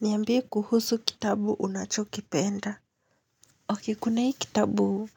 Niyambie kuhusu kitabu unachoki penda. Ok, kuna hii kitabu.